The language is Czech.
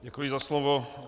Děkuji za slovo.